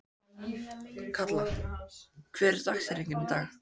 Kalla, hver er dagsetningin í dag?